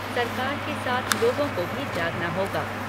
सरकार के साथ लोगों को भी जागना होगा।